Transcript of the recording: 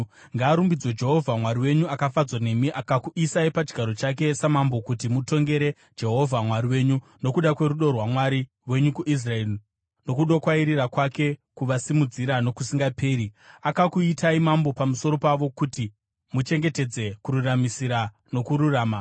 Ngaarumbidzwe Jehovha Mwari wenyu akafadzwa nemi akakuisai pachigaro chake samambo kuti mutongere Jehovha Mwari wenyu. Nokuda kwerudo rwaMwari wenyu kuIsraeri nokudokwairira kwake kuvasimudzira nokusingaperi, akakuitai mambo pamusoro pavo kuti muchengetedze kururamisira nokururama.”